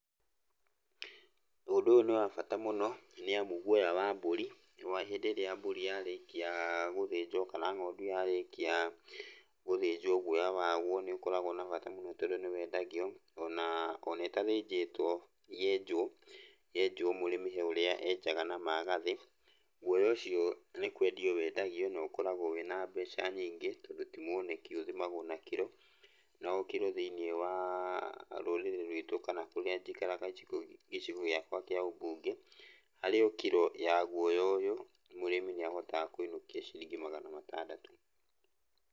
Ũndũ ũyũ nĩ wa bata mũno, nĩamu guoya wa mbũri, hĩndĩ ĩrĩa mbũri yarĩkia gũthĩnjwo, kana ng'ondu yarĩkia gũthĩnjwo, guoya waguo nĩũkoragwo na bata mũno tondũ nĩwendagio ona, ona ĩtathĩnjĩtwo yenjũo, yenjũo mũrĩmi he ũrĩa enjaga na magathĩ, guoya ũcio nĩ kwendio wendagio, na ũkoragwo wĩna meca nyingĩ, tondũ ti muoneki ũthimagwo na kiro. Na o kiro thĩiniĩ wa rũrĩrĩ rwitũ kana kũrĩa njikaraga gĩcigo gĩakwa kĩa ũmbunge, harĩ o kiro ya guoya ũyũ, mũrĩmi nĩahotaga kũinũkia ciringi magana matandatũ.